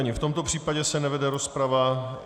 Ani v tomto případě se nevede rozprava.